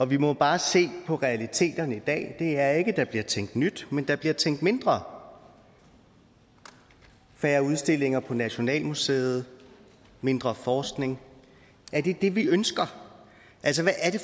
vi må bare se på realiteterne i dag og de er ikke at der bliver tænkt nyt men at der bliver tænkt mindre færre udstillinger på nationalmuseet mindre forskning er det det vi ønsker altså hvad er det